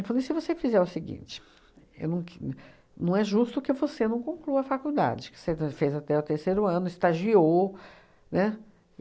falei, se você fizer o seguinte, eu não que não é justo que você não conclua a faculdade, que você fez até o terceiro ano, estagiou, né?